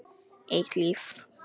Eitt líf.